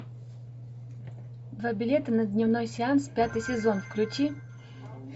два билета на дневной сеанс пятый сезон включи